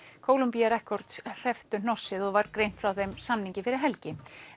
Columbia hrepptu hnossið og var greint frá þeim samningi fyrir helgi